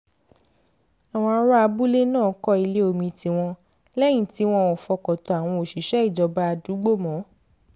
àwọn ará abúlé náà kọ́ ilé omi tiwọn lẹ́yìn tí wọn ò fọkàn tán àwọn òṣìṣẹ́ ìjọba àdúgbò mọ́